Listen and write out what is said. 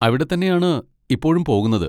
അവിടെ തന്നെയാണ് ഇപ്പോഴും പോകുന്നത്.